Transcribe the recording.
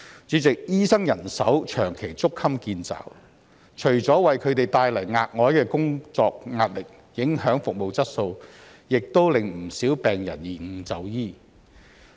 主席，醫生人手長期捉襟見肘，除了為他們帶來額外的工作壓力，影響服務質素，也令不少病人延誤就醫。